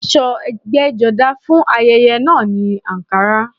Aṣọ ẹgbẹ́jọdá fún ayẹyẹ náà ni àǹkará